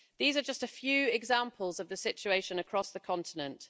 These are just a few examples of the situation across the continent.